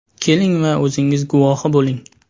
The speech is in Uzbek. Keling va o‘zingiz guvohi bo‘ling.